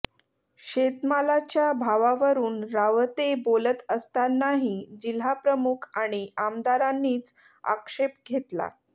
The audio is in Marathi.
शेतमालाच्या भावावरुन रावते बोलत असतानाही जिल्हाप्रमुख आणि आमदारांनीच आक्षेप घेतला